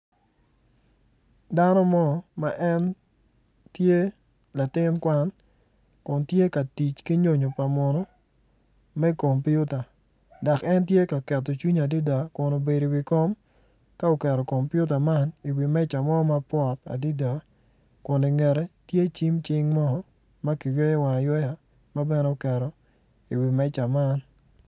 Dano mo ma en tye latin kwan kun tye ka tic ki nyonyo pa muno me kompiuta dok en tye ka keto cinge adada dok obedo i wi kom ka oketo kompiuta man i wi meja mo mapwot adada kun i ngete tye cim cing mo ma kiyweyo wange aywaya ma bene oketo oketo i wi meja man.